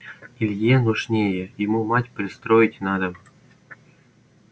илье нужнее ему мать пристроить надо